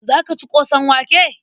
Za ka ci ƙosan wake?